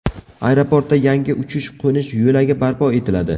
Aeroportda yangi uchish-qo‘nish yo‘lagi barpo etiladi.